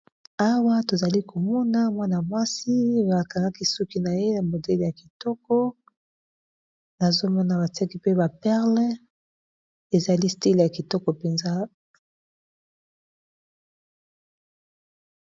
Awa tozali komona mwana-mwasi ba kangaki suki na ye na modele ya kitoko, nazomona batiaki pe ba perle ezali stile ya kitoko penza.